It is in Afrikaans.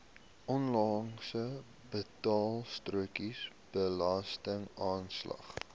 onlangse betaalstrokie belastingaanslag